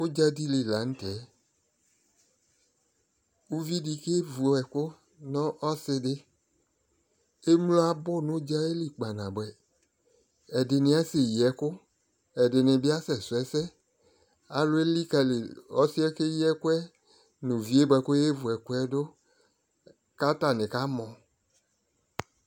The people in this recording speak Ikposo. Ʊdzadɩ lɩ lanʊ tɛ ʊvɩdɩ kevʊ ɛkʊ nʊ ɔsɩdɩ emlo abʊ nʊ ʊdza yɛlɩ kpa nabʊɛ ɛdɩnɩ asɛyɩ ɛkʊ ɛdɩnɩbɩ asɛsʊ ɛsɛ alʊ elikali ɔsɩɛ keyi ɛkʊɛ nʊ ʊvɩ yɛ koyevu ɛkʊɛ dʊ kʊ atanɩ kamɔ